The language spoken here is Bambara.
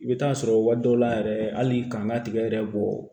I bɛ taa sɔrɔ waati dɔw la yɛrɛ hali k'an ka tigɛ yɛrɛ bɔ